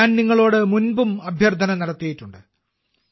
ഞാനും നിങ്ങളോട് മുൻപും അഭ്യർത്ഥന നടത്തിയിട്ടുണ്ട്